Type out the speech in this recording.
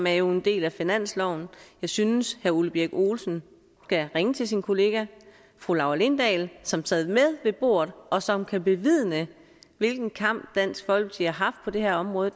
er en del af finansloven jeg synes herre ole birk olesen skal ringe til sin kollega fru laura lindahl som sad med ved bordet og som kan bevidne hvilken kamp dansk folkeparti har haft på det her område